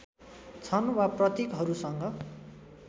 छन् वा प्रतीकहरूसँग